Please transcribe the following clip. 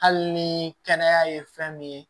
Hali ni kɛnɛya ye fɛn min ye